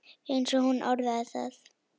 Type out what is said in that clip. eins og hún orðaði það.